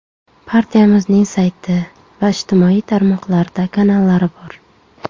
Partiyamizning sayti va ijtimoiy tarmoqlarda kanallari bor.